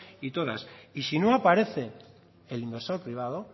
y todas y si no aparece el inversor privado